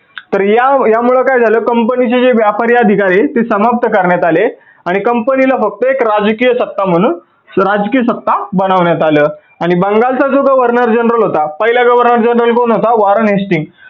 तर या मुळे काय झाल company चे जे व्यापारी अधिकारी आहेत ते समाप्त करण्यात आले आणि company ला फक्त एक राजकीय सत्ता म्हणून राजकीय सत्ता बनवण्यात आलं आणि बंगाल चा जो governor general होता पहिला governor general कोण होता Warren hestings